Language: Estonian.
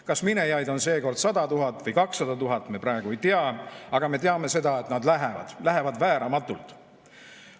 Kas minejaid on seekord 100 000 või 200 000, me praegu ei tea, aga me teame seda, et nad lähevad, lähevad vääramatult.